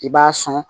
I b'a sɔn